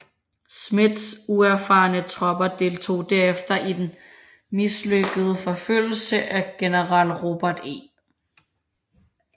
Smiths uerfarne tropper deltog derefter i den mislykkede forfølgelse af general Robert E